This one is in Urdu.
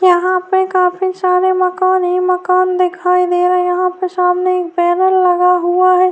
یہاں پہ کافی سارے مکان ہی مکان دکھائی دے رہے ہیں- یہاں پر سامنے ایک بینر لگا ہوا ہے-